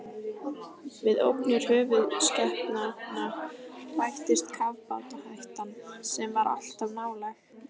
Við ógnir höfuðskepnanna bættist kafbátahættan, sem var alltaf nálæg.